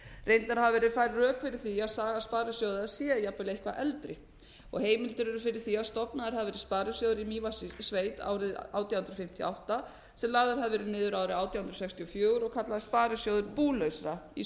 reyndar hafa verið færð rök fyrir því að saga sparisjóða sé jafnvel eitthvað eldri og heimildir eru fyrir því að stofnaður hafi verið sparisjóður í mývatnssýslusveit árið átján hundruð fimmtíu og átta sem lagður hafi verið niður árið átján hundruð sextíu og fjögur og kallaður sparisjóður búlausra í